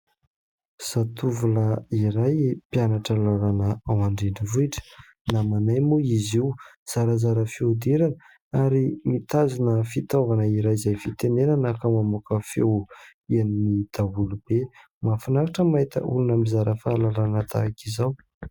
Zatovolahy iray mpianatra lalàna ao an-drenivohitra. Namanay moa izy io, zarazara fihodirana ary mitazona fitaovana iray izay fitenenana ka mamoaka feo enony daholo be. Mahafinaritra mahita olona mizara fahalalana tahaka izao.